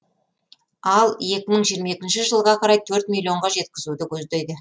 ал екі мың жиырма екінші жылға қарай төрт миллионға жеткізуді көздейді